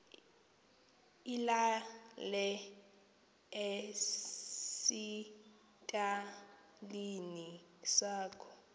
ilale esitalini sakho